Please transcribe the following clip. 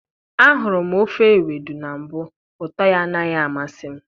ahụrụ m ofe ewedu na mbụ, ụtọ ya anaghị amasị m.